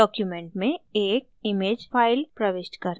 document में एक image file प्रविष्ट करना